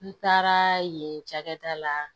N taara yen cakɛda la